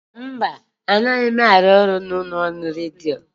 Mba, anaghị m arụ ọrụ n'ụlọ ọrụ redio.